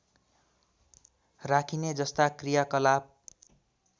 राखिने जस्ता कृयाकलाप